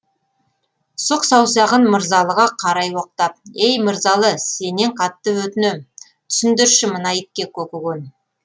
сұқ саусағын мырзалыға қарай оқтап ей мырзалы сенен қатты өтінем түсіндірші мына итке көкіген